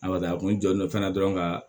A ka a kun jɔlen don fana dɔrɔn ka